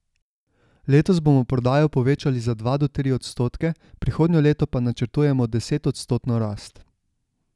Letos bomo prodajo povečali za dva do tri odstotke, prihodnje leto pa načrtujemo desetodstotno rast.